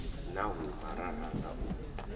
na huma ra ranga u